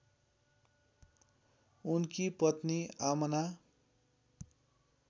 उनकी पत्नी आमना